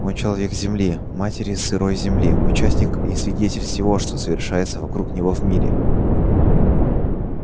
он человек земли матери сырой земли участник и свидетель всего что совершается вокруг него в мире